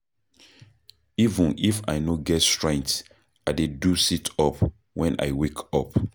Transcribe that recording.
Even if I no get strength, I dey do sit-up wen I wake up.